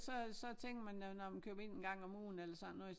Så så tænker man når man køber ind en gang om ugen eller sådan noget